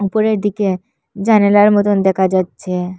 উপরের দিকে জানালার মতন দেখা যাচ্ছে।